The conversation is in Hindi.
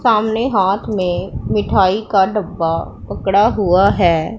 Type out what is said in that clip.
सामने हाथ में मिठाई का डब्बा पकड़ा हुआ है।